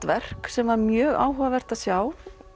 verk sem var mjög áhugavert að sjá